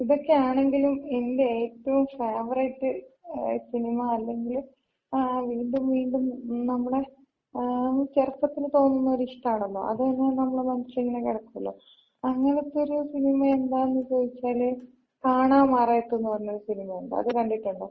ഇതൊക്ക ആണെങ്കിലും എന്‍റെ ഏറ്റവും ഫേവറൈറ്റ് സിനിമ, അല്ലെങ്കില് ആഹ് വീണ്ടും വീണ്ടും നമ്മളെ ആ ചെറുപ്പത്തില് തോന്നുന്നൊര് ഇഷ്ടാണല്ലോ. അത് തന്ന നമ്മുടെ മനസ്സിലിങ്ങന കെടക്കൂലോ. അങ്ങനത്തൊര് സിനിമ എന്താന്ന് ചോദിച്ചാല്, കാണാമറയത്ത്ന്ന് പറയണ ഒര് സിനിമയുണ്ട് അത് കണ്ടിട്ടുണ്ടോ?